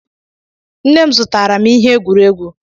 Nne m zụtaara m ihe egwuregwu.